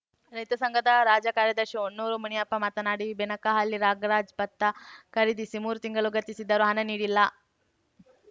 ರೈತ ಸಂಘದ ರಾಜ್ಯ ಕಾರ್ಯದರ್ಶಿ ಹೊನ್ನೂರು ಮುನಿಯಪ್ಪ ಮಾತನಾಡಿ ಬೆನಕಹಳ್ಳಿ ನಾಗರಾಜ್‌ ಭತ್ತ ಖರೀದಿಸಿ ಮೂರು ತಿಂಗಳು ಗತಿಸಿದರೂ ಹಣ ನೀಡಿಲ್ಲ